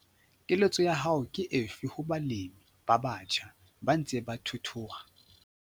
Keletso ya hao ke efe ho balemi ba batjha, ba ntseng ba thuthuha?